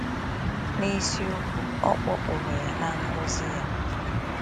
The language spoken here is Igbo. N’isiokwu, ọ kpọkpụrụ ya na ngọzi ya.